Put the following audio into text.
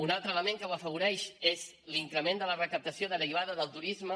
un altre element que ho afavoreix és l’increment de la recaptació derivada del turisme